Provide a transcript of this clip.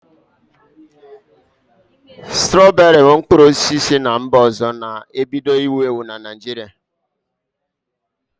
Strọberị bụ mkpụrụ osisi si mba ọzọ na-ebido iwu ewu n'ime Naịjirịa